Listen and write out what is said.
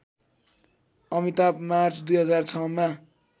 Amitabh March २००६ मा